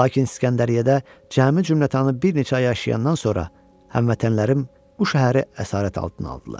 Lakin İsgəndəriyyədə cəmi cümlətanı bir neçə ay yaşayandan sonra həmvətənlərim bu şəhəri əsarət altına aldılar.